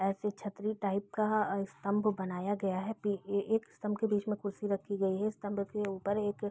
ऐसे छत्री टाइप का एक स्तंभ बनाया गया है पे एक स्तंभ के बीच में कुर्सी रखी गई है स्तंभ के ऊपर एक --